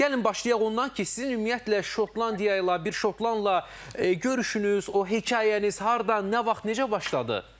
Gəlin başlayaq ondan ki, sizin ümumiyyətlə Şotlandiya ilə, bir şotlandla görüşünüz, o hekayəniz hardan, nə vaxt, necə başladı?